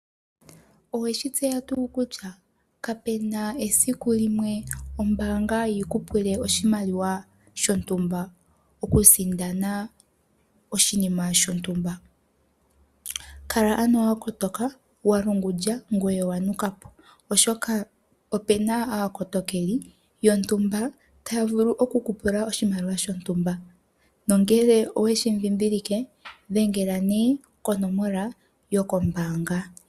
Owe shi tseya tuu kutya kapu na esiku ombaanga yi ku pule oshimaliwa shontumba okusindana oshinima shontumba. Kala ano wa kotoka, wa lungundja ngoye owa nuka po, oshoka opu na aakotokeli yontumba taya vulu oku ku pula oshimaliwa shontumba nongele owe shi dhindhilike dhengela nduno konomola yokombaanga.